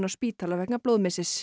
spítala vegna